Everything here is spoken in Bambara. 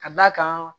Ka d'a kan